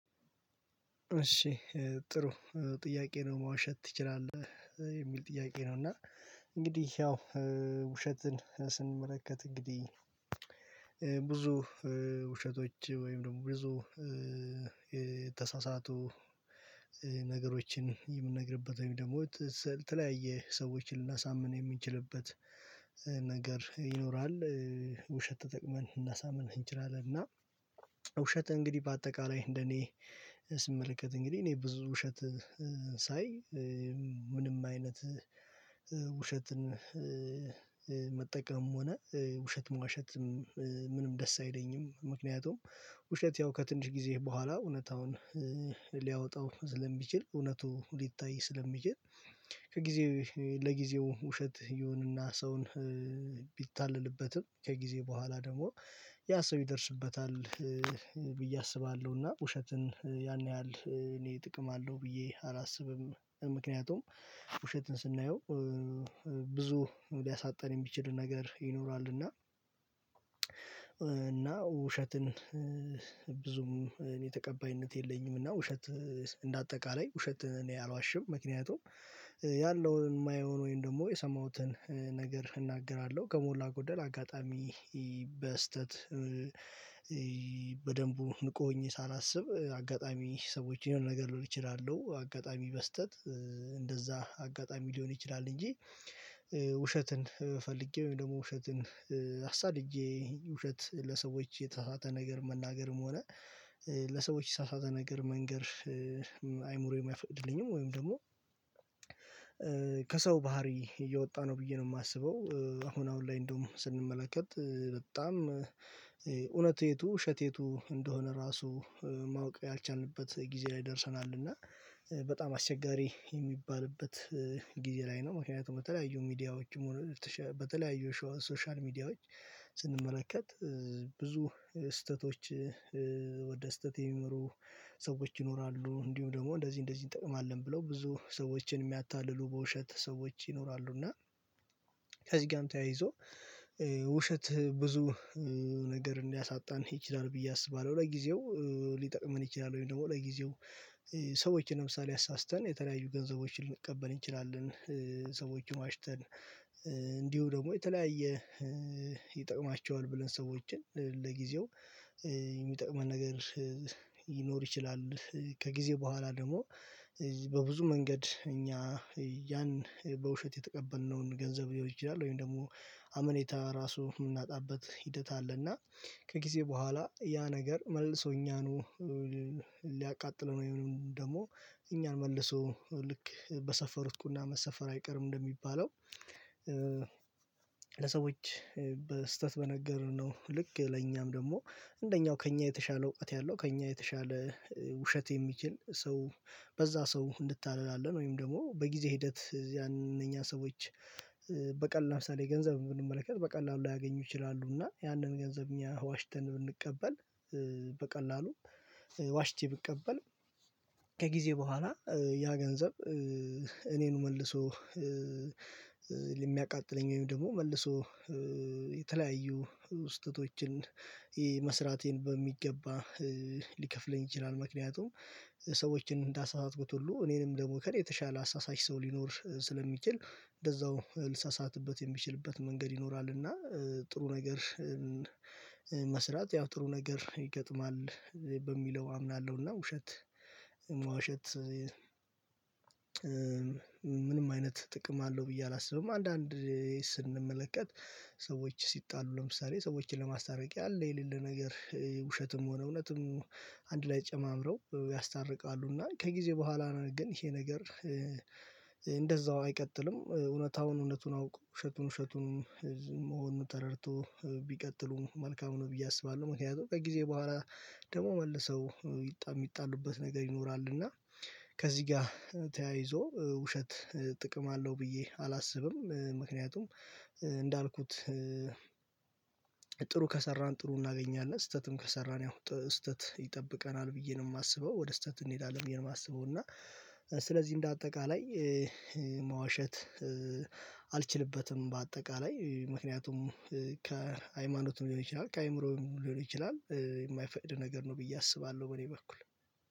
እሺ ጥሩ ጥያቄ ነው መዋሸት ትችላለህ? የሚል ጥያቄ ነው? እና እንግዲህ ያው ውሸትን ስንመለከት እንግዲህ ብዙ ውሸቶች ወይም ደግሞ ብዙ የተሳሳቱ ነገሮችን የምንነግርበት ወይም ደግሞ ለተለያየ ሰዎች ልናሳምን የምንችልበት ነገር ይኖራል ውሸት ተጠቅመን ልናሳምን እንችላለን። እና ውሸት እንግዲህ በአጠቃላይ እንደኔ ስመለከት እንግዲህ እኔ ብዙ ውሸት ሳይ ምንም አይነት ውሸትን መጠቀም ሆነ ውሸት መዋሸትም ምንም ደስ አይለኝም። ምክንያቱም ውሸት ያው ከትንሽ ጊዜህ በኋላ እውነታውን ሊያወጣው ስለሚችል እውነቱ ሊታይ ስለሚችል። ከጊዜ ለጊዜው ውሸት ይሁንና ሰውን ቢታለልበትም ከጊዜ በኋላ ደግሞ ያ ሰው ይደርስበታል ብዬ አስባለሁና። ውሸትን ያን ያህል እኔ ጥቅም አለው ብዬ አላስብም። ምክንያቱም ውሸትን ስናየው ብዙ ሊያሳጣን የሚችል ነገር ይኖራል። እና እና ውሸትን ብዙም እኔ ተቀባይነት የለኝም። እና ውሸት እንደ አጠቃላይ ውሸትን እኔ አልዋሽም። ምክንያቱም ያለውን የማየውን ወይም ደግሞ የሰማሁትን ነገር እናገራለሁ ከሞላ ጎደል አጋጣሚ። በስህተት በደንቡ ንቁ ሁኜ ሳላስብ አጋጣሚ ሰዎችን የሆነ ነገር ልሆን እችላለሁ። አጋጣሚ በስህተት እንደዛ አጋጣሚ ሊሆን ይችላል። እንጂ ፈልጌው ወይም ደግሞ ውሸትን አሳድጄ ውሸት ለሰዎች የተሳሳተ ነገር መናገርም ሆነ ለሰዎች የተሳሳተ ነገር መንገር አይምሮየም አይፈቅድልኝም። ወይም ደግሞ ከሰው ባህሪ እየወጣ ነው ብዬ ነው የማስበው። አሁን አሁን ላይ እንደውም ስንመለከት በጣም እውነት የቱ ውሸት የቱ እንደሆነ ራሱ ማወቅ ያልቻልንበት ጊዜ ላይ ደርሰናል። እና በጣም አስቸጋሪ የሚባልበት ጊዜ ላይ ነው። ምክንያቱም በተለያዩ ሚዲያዎች በተለያዩ ሶሻል ሚዲያዎች ስንመለከት ብዙ ስህተቶች ወደ ስህተት የሚመሩ ሰዎች ይኖራሉ። እንዲሁም ደግሞ እንደዚህ እንደዚህ እንጠቀማለን ብለው ብዙ ሰዎችን የሚያታልሉ በውሸት ሰዎች ይኖራሉ። እና ከዚህ ጋርም ተያይዞ ውሸት ብዙ ነገር እንዳያሳጣን ይችላል ብዬ አስባለሁ። ለጊዜው ሊጠቅመን ይችላል ወይም ደግሞ ለጊዜው ሰዎች ለምሳሌ አሳስተን የተለያዩ ገንዘቦችን ልንቀበል እንችላለን። ሰዎችን ዋሽተን ደግሞ የተለያየ ይጠቅማቸዋል ብለን ሰዎችን ለጊዜው የሚጠቅመን ነገር ሊይኖር ይችላል። ከጊዜ በኋላ ደግሞ በብዙ መንገድ እኛ ያን በውሸት የተቀበልነውን ገንዘብ ሊሆን ይችላል ወይም ደግሞ አመኔታ ራሱ የምናጣበት ሂደት አለና። ከጊዜ በኋላ ያ ነገር መልሶ እኛኑ ሊያቃጥለው ወይንም ደግሞ እኛን መልሶ ልክ በሰፈሩት ቁና መሰፈር አይቀርም። እንደሚባለው ለሰዎች በስህተት በነገሩን ነው ልክ ለኛም ደግሞ እንደኛው ከእኛ የተሻለ ውቃት ያለው ከእኛ የተሻለ ውሸት የሚችል ሰው በዛ ሰው እንታለላለን። ወይም ደግሞ በጊዜ ሂደት ያን እነኛ ሰዎች በቀላል ለምሳሌ ገንዘብ ብንመለከት በቀላሉ ሊያገኙ ይችላሉ። እና ያንን ገንዘብ እኛ ዋሽተን ብንቀበል በቀላሉም ዋሽቼ ብቀበል ከጊዜ በኋላ ያ ገንዘብ እኔኑ መልሶ የሚያቃጥለኝ ወይም ደግሞ መልሶ የተለያዩ ስህተቶችን መስራቴን በሚገባ ሊከፍለኝ ይችላል። ምክንያቱም ሰዎችን እንዳሳሳትኩት ሁሉ እኔንም ደግሞ ከኔ የተሻለ አሳሳች ሰው ሊኖር ስለሚችል እንደዛው ልሳሳትበት የሚችልበት መንገድ ይኖራል። እና ጥሩ ነገር መስራት ያው ጥሩ ነገር ይገጥማል በሚለው አምናለሁና። ውሸት መዋሸት ምንም አይነት ጥቅም አለው ብዬ አላስብም። አንዳንዴ ስንመለከት ሰዎች ሲጣሉ ለምሳሌ ሰዎችን ለማስታረቅ ያለ የሌለ ነገር ውሸትም ሆነ እውነትም አንድ ላይ ጨማምረው ያስታርቃሉ። እና ከጊዜ በኋላ ግን ይሄ ነገር እንደዛው አይቀጥልም። እውነታውን እውነቱን አውቆ ውሸቱን ውሸቱን መሆኑን ተረድቶ ቢቀጥሉም መልካሙን ብዬ አስባለሁ። ምክንያቱም ከጊዜ በኋላ ደግሞ መልሰው ሚጣሉበት ነገር ይኖራል። እና ከዚህ ጋር ተያይዞ ውሸት ጥቅም አለው ብዬ አላስብም። ምክንያቱም እንዳልኩት ጥሩ ከሰራን ጥሩ እናገኛለን ስህተትም ከሰራን ያው ስህተት ይጠብቀናል ብዬ ነው የማስበው። ወደ ስህተት እንሄዳለን ብዬ ነው የማስበው። እና ስለዚህ እንደ አጠቃላይ መዋሸት አልችልበትም በአጠቃላይ ምክንያቱም ከሃይማኖቱም ሊሆን ይችላል ከአእምሮም ሊሆን ይችላል የማይፈቅድ ነገር ነው ብዬ አስባለሁ። በኔ በኩል።